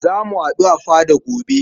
Za mu haɗu a fada gobe.